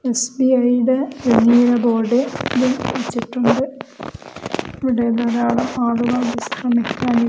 SBI യുടെ വലിയ board ഇവിടെ വെച്ചിട്ടുണ്ട് ഇവിടെ ധാരാളം ആളുകൾ വിശ്രമിക്കാൻ ഇരി--